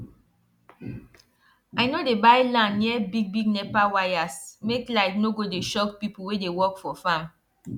i no dey buy land near bigbig nepa wires make light no go dey shock people wey dey work for farm